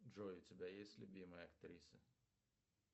джой у тебя есть любимая актриса